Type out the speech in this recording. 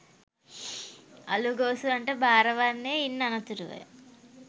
අළුගෝසුවන්ට බාර වන්නේ ඉන් අනතුරුවය.